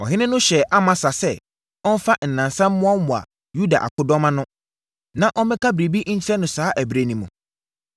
Ɔhene no hyɛɛ Amasa sɛ ɔmfa nnansa mmoaboa Yuda akodɔm ano, na ɔmmɛka biribi nkyerɛ no saa ɛberɛ no mu.